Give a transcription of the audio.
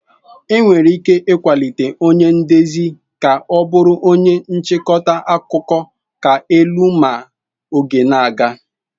Enwere ike ịkwalite onye ndezi ka ọ bụrụ onye nchịkọta akụkọ ka elu ma oge na-aga.